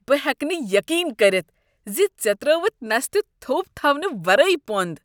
بہٕ ہٮ۪کہٕ نہٕ یقین کٔرتھ ز ژےٚ ترٛٲوتھ نستہِ تھوٚپ تھونہٕ ورٲے پۄنٛد۔